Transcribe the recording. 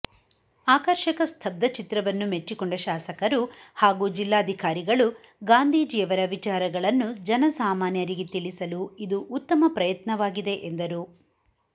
ಆಕರ್ಷಕ ಸ್ಥಬ್ದಚಿತ್ರವನ್ನು ಮೆಚ್ಚಿಕೊಂಡ ಶಾಸಕರು ಹಾಗೂ ಜಿಲ್ಲಾಧಿಕಾರಿಗಳು ಗಾಂಧೀಜಿಯವರ ವಿಚಾರಗಳನ್ನು ಜನಸಾಮಾನ್ಯರಿಗೆ ತಿಳಿಸಲು ಇದು ಉತ್ತಮ ಪ್ರಯತ್ನವಾಗಿದೆ ಎಂದರು